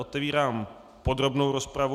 Otevírám podrobnou rozpravu.